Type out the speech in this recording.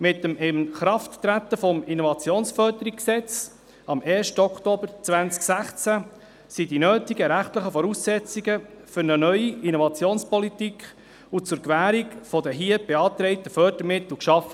Mit dem Inkrafttreten des Innovationsförderungsgesetzes (IFG) am 1. Oktober 2016 wurden die rechtlich notwendigen Voraussetzungen für eine neue Innovationspolitik und zur Gewährung der hier beantragten Förderungsmittel geschaffen.